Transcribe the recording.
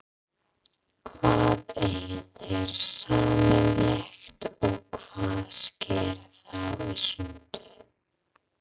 Hvað eiga þeir sameiginlegt og hvað sker þá í sundur?